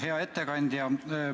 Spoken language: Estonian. Hea ettekandja!